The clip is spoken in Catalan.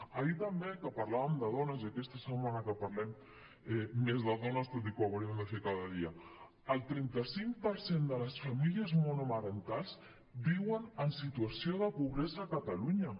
ahir també que parlàvem de dones i aquesta setmana que parlem més de dones tot i que ho hauríem de fer cada dia el trenta cinc per cent de les famílies monomarentals viuen en situació de pobresa a catalunya